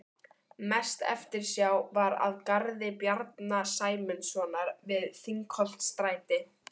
Mest eftirsjá var að garði Bjarna Sæmundssonar við Þingholtsstræti